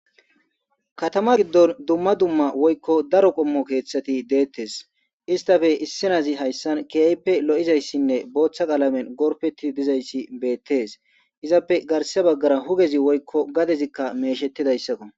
katama giddon dumma dumma woykko daro qommo keeththati deettes istafe issinazi hayssan kiyayppe lo7izayssinne booththa qalamen gorfeti dizayssi beettes izappe garse baggara hugezi woykko gadezikka meeshettidayssako